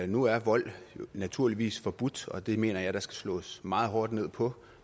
nu er vold naturligvis forbudt og det mener jeg at der skal slås meget hårdt ned på